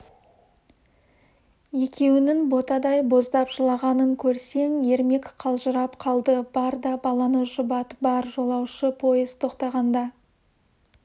екеуінің ботадай боздап жылағанын көрсең ермек қалжырап қалды бар да баланы жұбат бар жолаушы пойыз тоқтағанда